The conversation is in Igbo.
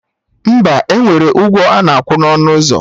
Mba, enwere ụgwọ ana akwa na ọnụ ụzọ